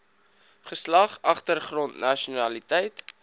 geslag agtergrond nasionaliteit